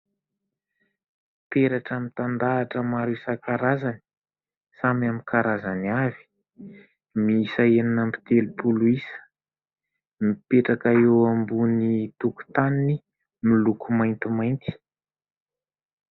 Peratra mitandahatra maro isakan-karazany, samy amin'ny karazany avy, miisa enina amby telopolo isa, mipetraka eo ambony tokotaniny miloko maintimainty.